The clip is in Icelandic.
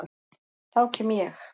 Þá kem ég.